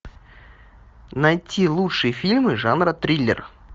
найти лучшие фильмы жанра триллер